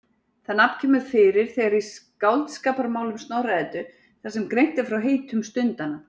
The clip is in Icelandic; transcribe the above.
Það nafn kemur fyrir þegar í Skáldskaparmálum Snorra-Eddu þar sem greint er frá heitum stundanna.